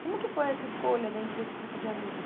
Como que foi essa escolha dentro desse grupo de amigos?